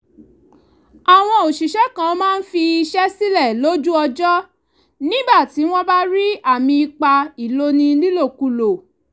àwọn òṣìṣẹ́ kan máa ń fi iṣẹ́ sílẹ̀ lójú ọjọ́ nígbà tí wọ́n bá rí àmì ipá ìloni nílòkulò